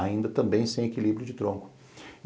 Ainda também sem equilíbrio de tronco.